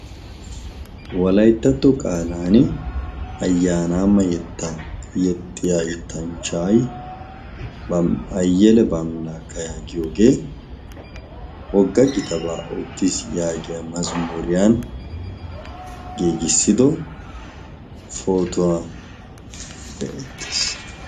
Wolayttatto qaalan ayyaanaama yetta yexxiya yottanchchaay bayyele bamilaakka yaagiyoogee wogga gitabaa oottii yaagiya mazamuuriyan geegissido potuwaa de'eettees.